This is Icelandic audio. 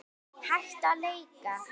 Hætta á leka?